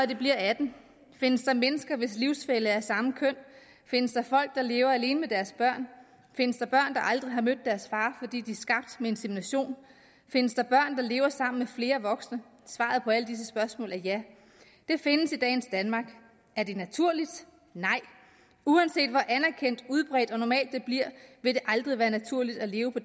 de bliver 18 findes der mennesker hvis livsfælle er af samme køn findes der folk der lever alene med deres børn findes der børn der aldrig har mødt deres far fordi de er skabt ved insemination findes der børn der lever sammen med flere voksne svaret på alle spørgsmål er ja det findes i dagens danmark er det naturligt nej uanset hvor anerkendt udbredt og normalt det bliver vil det aldrig være naturligt at leve på